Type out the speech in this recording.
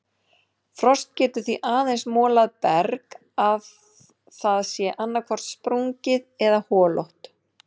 Frost getur því aðeins molað berg að það sé annaðhvort sprungið eða holótt.